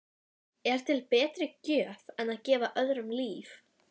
Er til betri gjöf en að gefa öðrum líf?